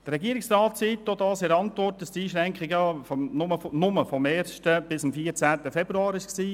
Der Regierungsrat schreibt in seiner Antwort, dass die Einschränkung nur vom 1. bis am 14. Februar gedauert hat.